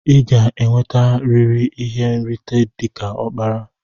Iga enwete riri ihe nrita dika okpara!!